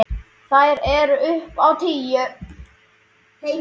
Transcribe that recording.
Þær eru upp á tíu.